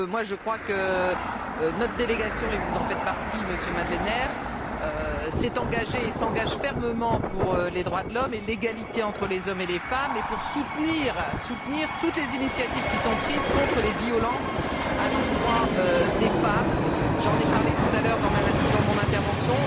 Je crois que notre délégation et vous en faites partie, Monsieur Madlener s'est engagée et s'engage fermement pour les droits de l'homme et l'égalité entre les hommes et les femmes, et pour soutenir toutes les initiatives prises contre les violences à l'endroit des femmes. J'en ai parlé tout à l'heure dans mon intervention.